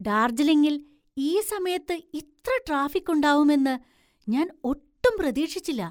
ഡാര്‍ജിലിങ്ങില്‍ ഈ സമയത്ത് ഇത്ര ട്രാഫിക്ക് ഉണ്ടാവും എന്ന് ഞാൻ ഒട്ടും പ്രതീക്ഷിച്ചില്ല.